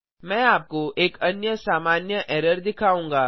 मैं आपको एक अन्य सामान्य एरर दिखाऊंगा